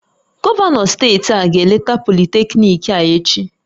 Gọvanọ steeti a ga-eleta politekniiki a echi